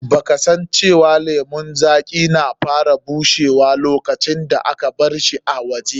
Ba ka san cewa lemun zaƙi na fara bushewa lokacin da aka barshi a waje?